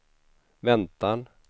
väntan